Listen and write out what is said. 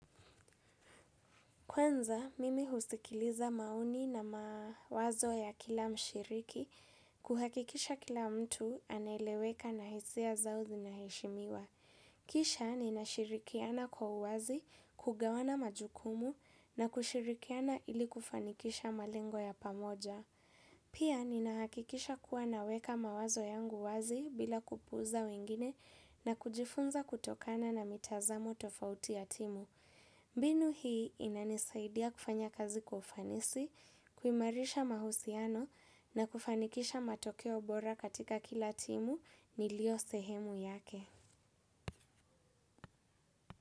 Kwanza, mimi husikiliza maoni na mawazo ya kila mshiriki, kuhakikisha kila mtu aneleweka na hisia zao zinaheshimiwa. Kisha, nina shirikiana kwa uwazi, kugawana majukumu na kushirikiana ili kufanikisha malingo ya pamoja. Pia, nina hakikisha kuwa naweka mawazo yangu wazi bila kupuuza wengine na kujifunza kutokana na mitazamo tofauti ya timu. Mbinu hii inanisaidia kufanya kazi kwa ufanisi, kuimarisha mahusiano na kufanikisha matokeo bora katika kila timu nilio sehemu yake.